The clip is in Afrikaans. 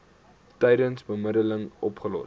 tydens bemiddeling opgelos